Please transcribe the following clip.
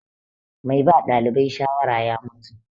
Mai ba ɗalibai shawara ya mutu.